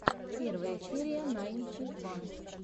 первая серия найнти ван